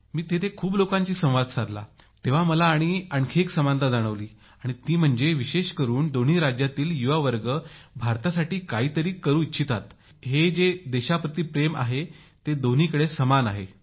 मी तेथील खूप युवकांशी संवाद साधला तेव्हा मला आणखी समानता जाणवली आणि ती म्हणजे विशेष करून दोन्ही राज्यांतील युवा वर्ग भारतासाठी काहीतरी करू इच्छितात हे जे देशाप्रती प्रेम आहे ते दोन्हीकडे समान आहे